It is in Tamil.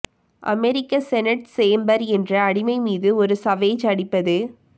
அமெரிக்க செனட் சேம்பர் என்ற அடிமை மீது ஒரு சவேஜ் அடிப்பது